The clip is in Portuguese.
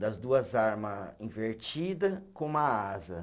das duas arma invertida com uma asa.